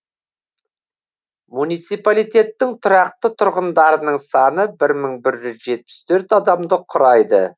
муниципалитеттің тұрақты тұрғындарының саны бір мың бір жүз жетпіс төрт адамды құрайды